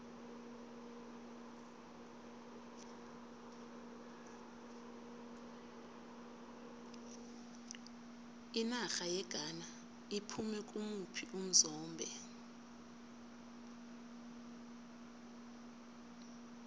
inarha yeghana iphume kimuphi umzombe